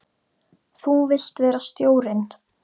Þú vilt vera stjórinn?